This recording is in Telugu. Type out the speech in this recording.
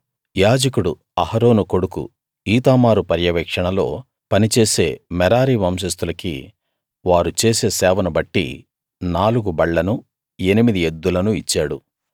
యాజకుడు అహరోను కొడుకు ఈతామారు పర్యవేక్షణ లో పనిచేసే మెరారి వంశస్తులకి వారు చేసే సేవను బట్టి నాలుగు బళ్లనూ ఎనిమిది ఎద్దులనూ ఇచ్చాడు